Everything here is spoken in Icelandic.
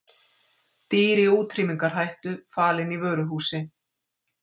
Dýr í útrýmingarhættu falin í vöruhúsi